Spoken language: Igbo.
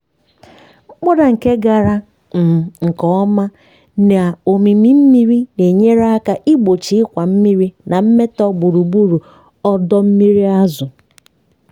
mkpọda nke gara um nke ọma na ómímí mmiri na-enyere aka igbochi ịkwa mmiri na mmetọ gburugburu ọdọ mmiri azụ̀.